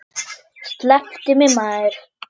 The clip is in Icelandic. Slepptu mér maður.